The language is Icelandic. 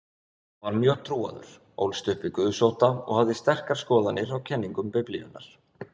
Hann var mjög trúaður, ólst upp við guðsótta og hafði sterkar skoðanir á kenningum Biblíunnar.